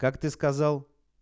как ты сказал